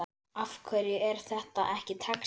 Af hverju er þetta ekki textað?